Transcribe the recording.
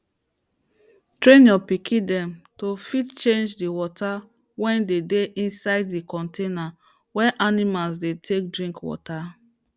train your pikin dem to fit change d water wey de dey inside the container wey animals dey take drink water